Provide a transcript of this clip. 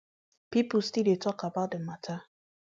pipo still dey tok about di mata